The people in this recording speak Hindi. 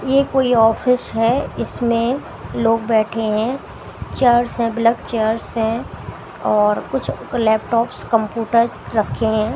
ये कोई ऑफिस है इसमें लोग बैठे हैं चेयर्स हैं ब्लैक चेयर्स हैं और कुछ लैपटॉप्स कंप्यूटर रखे हैं।